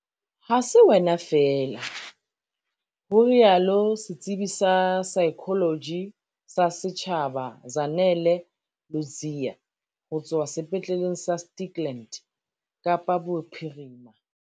"Ha se wena feela," ho rialo setsebi sa saekholoji sa setjhaba Zanele Ludziya ho tswa Sepetleleng sa Stikland, Kapa Bophirima.